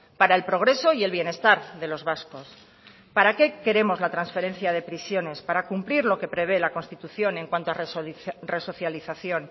para el progreso y el bienestar de los vascos para qué queremos la transferencia de prisiones para cumplir lo que prevé la constitución en cuanto a resocialización